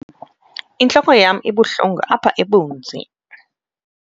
intloko yam ibuhlungu apha ebunzi